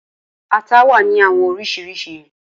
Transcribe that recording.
Ata wa ni awọn oriṣiriṣi.